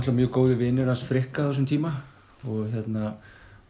mjög góðir vinir hans Frikka á þessum tíma